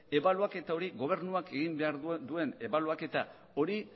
gobernuak egin behar duen ebaluaketa hori